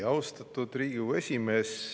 Austatud Riigikogu esimees!